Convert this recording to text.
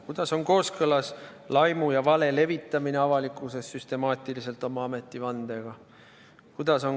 Kuidas on avalikkuses laimu ja vale süstemaatiline levitamine kooskõlas nende ametivandega?